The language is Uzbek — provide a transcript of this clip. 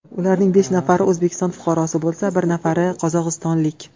Ularning besh nafari O‘zbekiston fuqarosi bo‘lsa, bir nafari qozog‘istonlik.